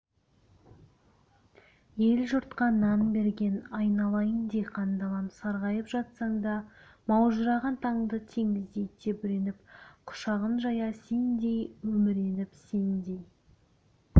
ел-жұртқа нан берген айналайын диқан далам сарғайып жатсаң да маужыраған таңды теңіздей тебіреніп құшағын жая сендей еміреніп сендей